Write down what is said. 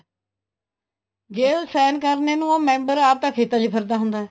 ਜ਼ੇ ਉਹ sign ਕਰਨੇ ਨੂੰ ਉਹ member ਆਪ ਤਾਂ ਖੇਤਾਂ ਚ ਫਿਰਦਾ ਹੁੰਦਾ ਹੈ